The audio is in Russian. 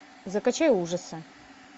закачай ужасы